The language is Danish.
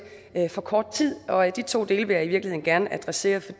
for kort tid de to dele vil jeg i virkeligheden gerne adressere for